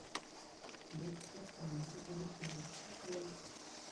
бегство с планеты обезьян открой